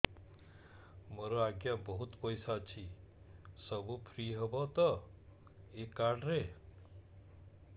ମୋର ଆଜ୍ଞା ବହୁତ ପଇସା ଅଛି ସବୁ ଫ୍ରି ହବ ତ ଏ କାର୍ଡ ରେ